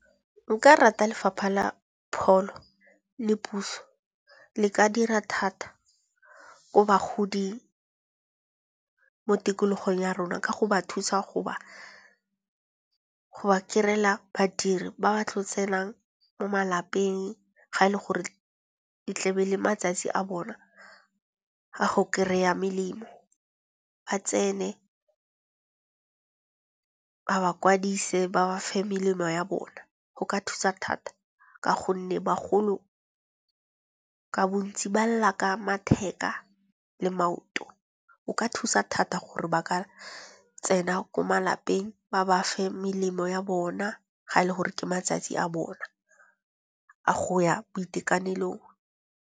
Nka rata lefapha la pholo le puso le ka dira thata ko bagodi mo tikologong ya rona. Ka go ba thusa go ba kry-ela badiri ba ba tlo tsenang mo malapeng ga le gore e tlebe e le matsatsi a bona a go kry-a melemo. Ba tsene ba ba kwadise, ba ba fe melemo ya bona. Go ka thusa thata, ka gonne bagolo ka bontsi ba lla ka matheka le maoto. O ka thusa thata gore ba ka tsena ko malapeng ba ba fe melemo ya bona, ga le gore ke matsatsi a bona a go ya boitekanelo.